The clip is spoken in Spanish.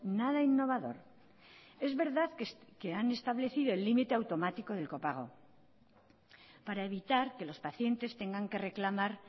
nada innovador es verdad que han establecido el límite automático del copago para evitar que los pacientes tengan que reclamar